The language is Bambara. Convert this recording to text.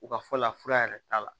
U ka fɔ la fura yɛrɛ t'a la